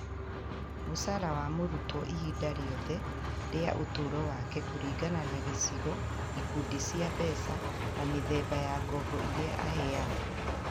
Mũcara wa mũrutwo ihinda rĩothe rĩa ũtũũro wake kũringana na gĩcigo, ikundi cia mbeca, na mĩthemba ya ngombo iria aheagwo